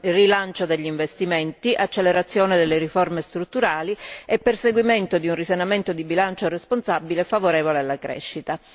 rilancio degli investimenti, accelerazione delle riforme strutturali e perseguimento di un risanamento di bilancio responsabile favorevole alla crescita.